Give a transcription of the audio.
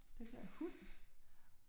Den der hund?